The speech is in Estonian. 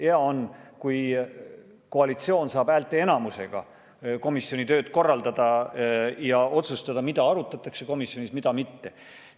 Hea on, kui koalitsioon saab häälteenamusega komisjoni tööd korraldada ja otsustada, mida komisjonis arutatakse, mida mitte.